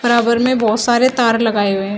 बराबर में बहोत सारे तार लगाए हुए हैं।